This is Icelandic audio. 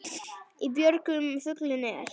Í björgum fuglinn er.